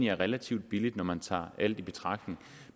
er relativt billigt når man tager alt i betragtning